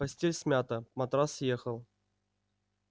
постель смята матрас съехал